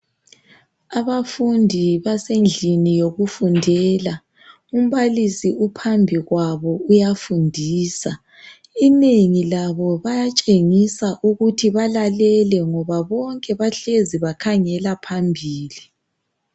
Abafundi basendlini yokufundela. Umbalisi uphambi kwabo uyafundisa. Inengi labo bayatshengisa ukuthi balalele ngoba bonke bahlezi bakhangela phambili.